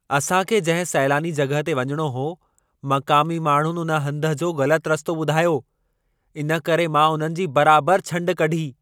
असां खे जंहिं सैलानी जॻहि ते वञिणो हो, मक़ामी माण्हुनि उन हंध जो ग़लति रस्तो ॿुधायो। इन करे मां उन्हनि जी बराबर जी छंड कढी।